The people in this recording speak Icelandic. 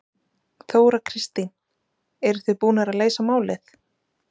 Þóra Kristín: Eruð þið búnir að leysa málið?